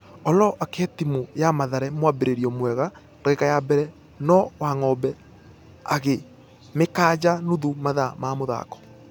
Oloo akĩhe timũ ya mathare mwabĩrĩrio mwega dagĩka ya mbere nũ wangombe agĩmĩkaja nuthu mathaa ma mũthako.